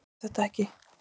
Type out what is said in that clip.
Getur þetta ekki.